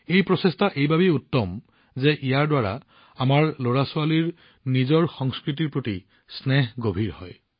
এই প্ৰচেষ্টাও অতি উত্তম কাৰণ ইয়াৰ দ্বাৰা আমাৰ লৰাছোৱালীৰ নিজৰ সংস্কৃতিৰ প্ৰতি থকা মোহ আৰু অধিক গভীৰ হয়